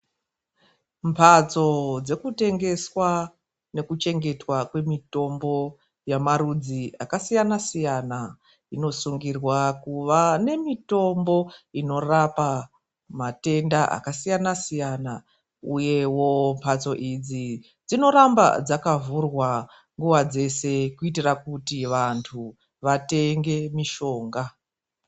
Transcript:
Mbatso dzokutengeswa nekuchengetwa kwemitombo yamarudzi akasiyana siyana inosungirwa kuva nemitombo inorapa matenda akasiyana siyana uyewo mbatso idzi dzinoramba dzakavhurwa nguva dzese kuitira kuti vandu vatenge mishonga.